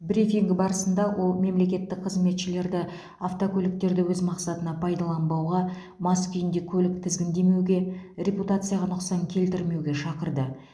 брифинг барысында ол мемлекеттік қызметшілерді автокөліктерді өз мақсатына пайдаланбауға мас күйінде көлік тізгіндемеуге репутацияға нұқсан келтірмеуге шақырды